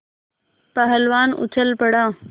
पहलवान उछल पड़ा